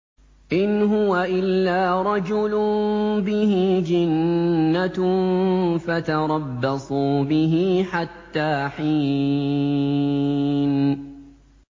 إِنْ هُوَ إِلَّا رَجُلٌ بِهِ جِنَّةٌ فَتَرَبَّصُوا بِهِ حَتَّىٰ حِينٍ